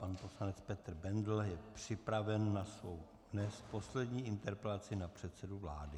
Pan poslanec Petr Bendl je připraven na svou dnes poslední interpelaci na předsedu vlády.